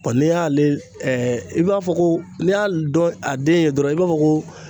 Bɔn n'i y'ale ɛɛ i b'a fɔ ko n'i y'a dɔn a den ye dɔrɔn i b'a fɔ ko